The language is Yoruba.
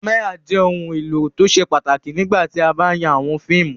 Kámẹ́rà jẹ́ ohun-èlò tó ṣe pàtàkì nígbà tí a bá ń ya àwọn fíìmù.